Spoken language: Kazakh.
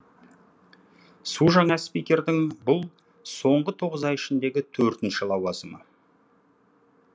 су жаңа спикердің бұл соңғы тоғыз ай ішіндегі төртінші лауазымы